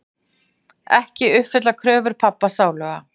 Ekki uppfyllt kröfur pabba sáluga.